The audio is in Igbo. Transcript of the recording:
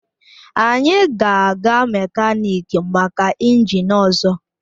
Anyị ga-aga mekaniki maka injin ọzọ